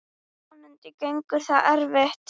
Vonandi gengur það eftir.